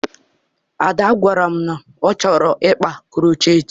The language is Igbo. Ada gwara m na ọ chọrọ ịkpa krocheetị